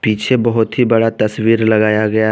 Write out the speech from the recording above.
पीछे बहोत ही बड़ा तस्वीर लगाया गया--